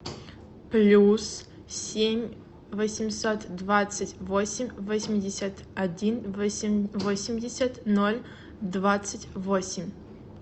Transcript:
плюс семь восемьсот двадцать восемь восемьдесят один восемьдесят ноль двадцать восемь